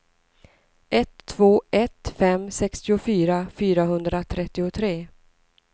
ett två ett fem sextiofyra fyrahundratrettiotre